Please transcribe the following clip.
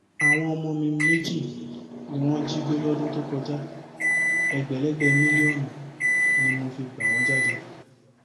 àwọn ọmọ mi méjì ni wọn jí gbé lọdún tó kọjá ẹgbẹlẹgbẹ mílíọnù ni mo fi gbà wọn jáde